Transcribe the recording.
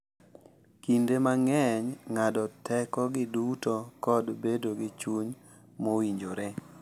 Kinde mang’eny, ng’ado tekogi duto kod bedo gi chuny mowinjore.